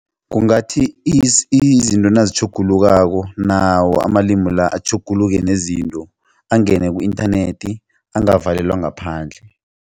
Kungathi [?[ izinto nazitjhugulukako nawo amalimu la atjhuguluke nezinto angene ku-inthanethi angavalelwa ngaphandle.